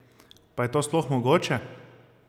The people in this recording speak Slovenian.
Pa je to sploh mogoče?